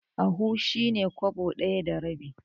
Ahu shi ne kwabo ɗaya da rabi.